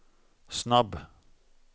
snabb